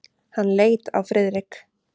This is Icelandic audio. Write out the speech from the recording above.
Hann leit á Friðrik.